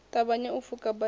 ṱavhanye u pfuka bada sa